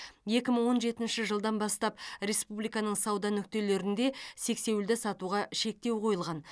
екі мың он жетінші жылдан бастап республиканың сауда нүктелерінде сексеуілді сатуға шектеу қойылған